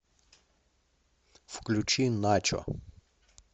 включи начо